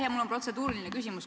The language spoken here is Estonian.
Jah, mul on protseduuriline küsimus.